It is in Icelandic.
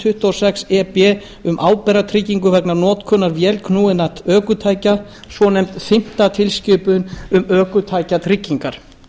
tuttugu og sex e b um ábyrgðartryggingu vegna notkunar vélknúinna ökutækja svonefnd fimmta tilskipun um ökutækjatryggingar